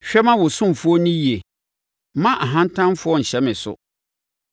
Hwɛ ma wo ɔsomfoɔ nni yie; mma ahantanfoɔ nhyɛ me so.